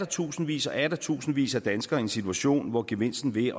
tusindvis og atter tusindvis af danskere i en situation hvor gevinsten ved